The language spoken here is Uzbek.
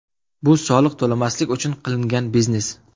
Bu soliq to‘lamaslik uchun qilingan biznes.